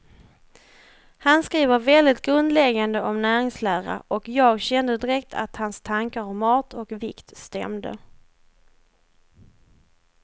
Han skriver väldigt grundläggande om näringslära, och jag kände direkt att hans tankar om mat och vikt stämde.